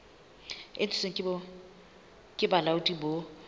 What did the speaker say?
e ntshitsweng ke bolaodi bo